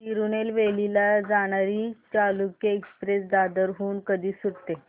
तिरूनेलवेली ला जाणारी चालुक्य एक्सप्रेस दादर हून कधी सुटते